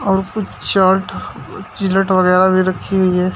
और उसपे chart Gillette वगैरा भी रखी हुई है।